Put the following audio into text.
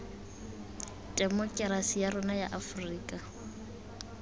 temokerasi ya rona ya aforika